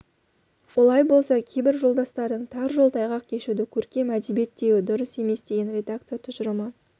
олай болса кейбір жолдастардың тар жол тайғақ кешуді көркем әдебиет деуі дұрыс емес деген редакция тұжырымы